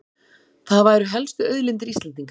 Það væru helstu auðlindir Íslendinga